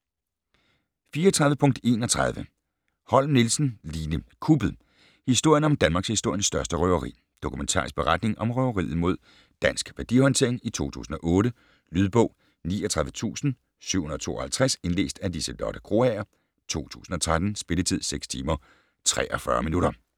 34.31 Holm Nielsen, Line: Kuppet: historien om danmarkshistoriens største røveri Dokumentarisk beretning om røveriet mod Dansk Værdihåndtering i 2008. Lydbog 39752 Indlæst af Liselotte Krogager, 2013. Spilletid: 6 timer, 43 minutter.